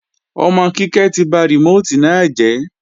Ọmọ Kíkẹ́ ti ba rìmóòtì náà jẹ́